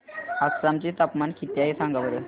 आसाम चे तापमान किती आहे सांगा बरं